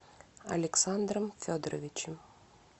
александром федоровичем